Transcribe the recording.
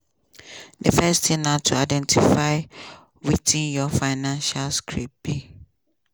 di first tin na to identify wetin your financial script be.